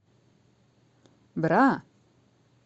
бра